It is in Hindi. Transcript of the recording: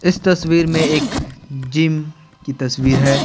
इस तस्वीर में एक जिम की तस्वीर है।